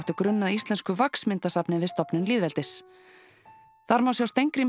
grunn að íslensku við stofnun lýðveldis þar má sjá Steingrím